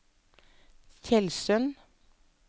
Tjeldsund